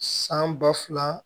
San ba fila